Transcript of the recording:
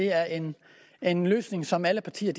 er en en løsning som alle partier